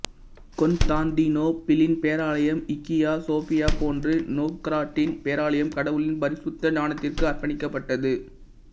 கொன்தாந்திநோபிளின் பேராலயம் Hagia Sophia போன்று நொவ்கொரொட்டின் பேராலயம் கடவுளின் பரிசுத்த ஞானத்திற்கு அர்ப்பணிக்கப்பட்டது